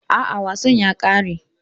A'a, wasan ya kare.